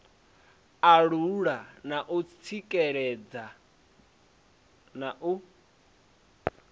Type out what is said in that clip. alula u tsikeledza na u